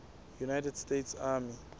united states army